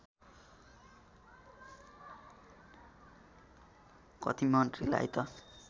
कति मन्त्रीलाई त